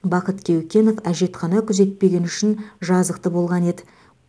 бақыт кеукенов әжетхана күзетпегені үшін жазықты болған еді